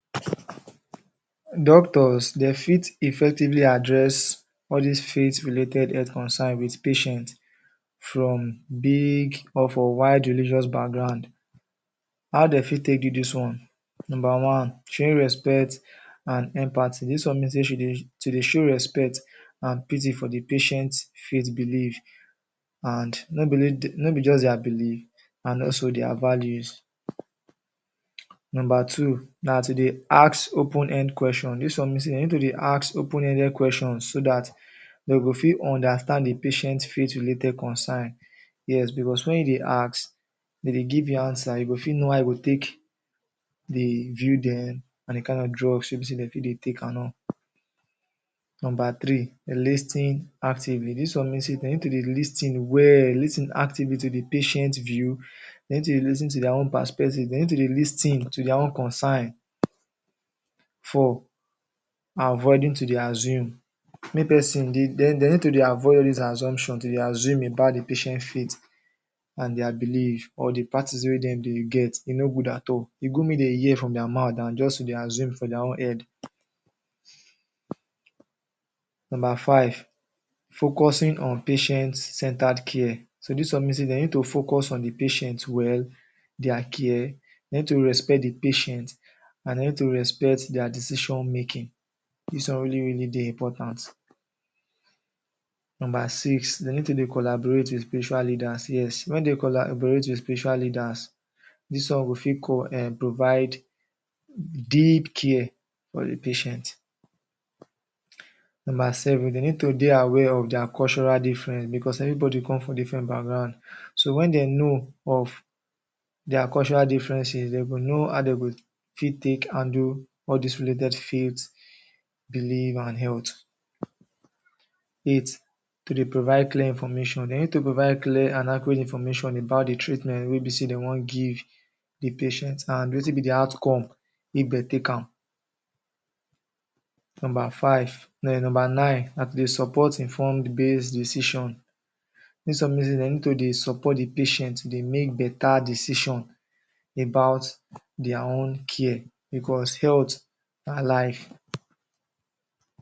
Doctors, dey fit effectively address all dis faith related health concern wit patient from big or from wide religious background. How dey fit take do dis one? Number one, showing respect and empathy. Dis one mean say she dey, to dey show respect and pity for the patient faith belief and no be only the? No be just their belief and also, their values. Number two, na to dey ask open-end question. Dis one mean say dey need to dey ask open-ended questions so dat dey go fit understand the patient faith related concern. Yes, because when you dey ask, dem dey give you answer, you go fit know how you go take dey view dem and the kind of drugs wey be say dey fit dey take and all. Number three, lis ten ing actively. Dis one mean say dey need to dey lis ten well, dey lis ten actively to the patient view, dey need to dey lis ten to their own perspective, dey need to dey lis ten to their own concern. Four, avoiding to dey assume. Make person? dey need to dey avoid all dis assumption, to dey assume about the patient faith amd their belief or the practice wey dem dey get. E no good at all. E good make dey hear from their mouth than just to dey assume for their own end. Five, focusing on patient’s centred care. So dis one mean say dey need to focus on the patient well, their care. Dey need to respect the patient and dey need to respect their decision making, dis one really really dey important. Number six, dey need to dey collaborate wit spiritual leaders. Yes, wen dey collaborate wit spiritual leaders dis one go fit? um provide deep care for the patient. Number seven, dey need to dey aware of their cultural difference because everybody come from different background. So when dem know of their cultural differences, dey go know how dey go fit take handle all dis related faith belief and health. Eight, to dey provide clear information. Dey need to provide clear and accurate information about the treatment wey be say dey wan give give the patient and wetin be the outcome if dey take am. Number five, no number nine, na to support informed based decision. Dis one mean say dey need to dey support the patient, to dey make better decision about their own care because health na life.